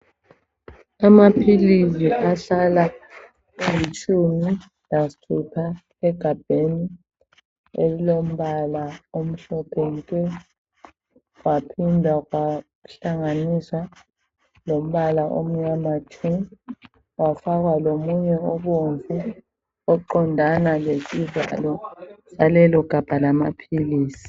Amaphilisi ahlala elitshumi lasithupha egabheni elilombala omhlophe nke. Kwaphinda kwahlanganiswa lombala omnyama tshu kwafakwa lomunye obomvu oqondana lesivalo salelo gabha lamaphilisi.